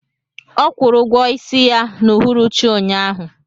Ọ kwụrụ ụgwọ isi ya n'uhuruchi ụnyahụ